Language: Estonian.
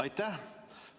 Aitäh!